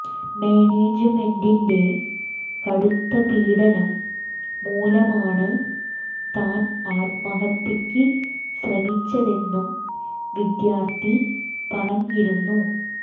മാനേജുമെന്റിന്റെ കടുത്ത പീഡനം മൂലമാണ് താൻ ആത്മഹത്യയ്ക്ക് ശ്രമിച്ചെതെന്നും വിദ്യാർത്ഥി പറഞ്ഞിരുന്നു